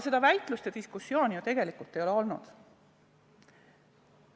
Seda väitlust ja diskussiooni paraku tegelikult ei ole olnud.